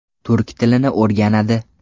Turk tilini o‘rganadi.